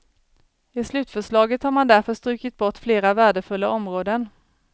I slutförslaget har man därför strukit bort flera värdefulla områden.